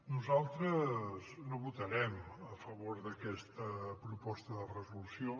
nosaltres no votarem a favor d’aquesta proposta de resolució